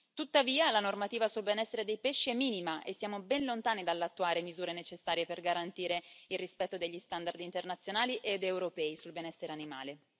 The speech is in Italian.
Tuttavia la normativa sul benessere dei pesci è minima, e siamo ben lontani dall'attuare le misure necessarie per garantire il rispetto degli standard internazionali ed europei sul benessere animale.